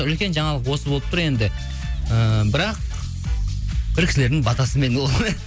үлкен жаңалық осы болып тұр енді ііі бірақ бір кісілердің батасымен